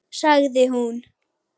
Sagði hún.